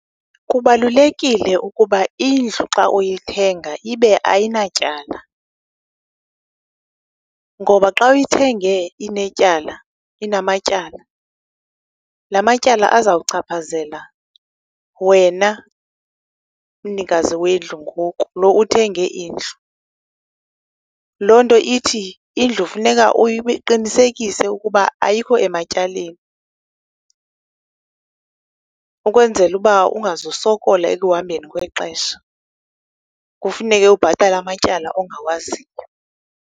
Kubalulekile ukuba indlu xa uyithenga ibe ayinatyala ngoba xa uyithenge inetyala, inamatyala la matyala azawuchaphazela wena mnikazi wendlu ngoku, loo uthenge indlu. Loo nto ithi indlu funeka uqinesekise ukuba ayikho ematyaleni ukwenzela ukuba ungazosokola ekuhambeni kwexesha, kufuneka ubhatale amatyala ongawaziyo.